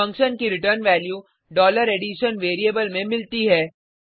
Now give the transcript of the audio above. function की return value addition variable में मिलती है